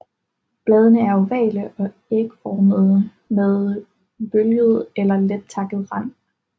Bladene er ovale til ægformede med bølget eller let takket rand